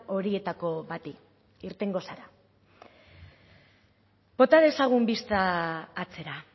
horietako bati irtengo zara bota dezagun bista atzera